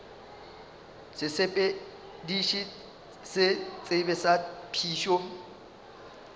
sesepediši se sebe sa phišo